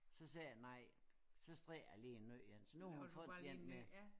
Så sagde jeg nej så strikker jeg lige en ny én så nu har hun fået den med